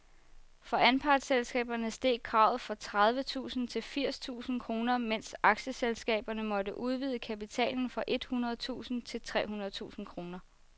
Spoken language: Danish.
For anpartsselskaberne steg kravet fra tredive tusind til firs tusind kroner, mens aktieselskaberne måtte udvide kapitalen fra et hundrede tusind til tre hundrede tusind kroner.